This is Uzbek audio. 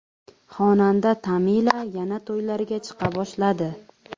Xonanda Tamila yana to‘ylarga chiqa boshladi .